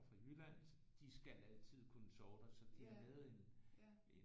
Fra Jylland så de skal altid kunne sove der så de har lavet en en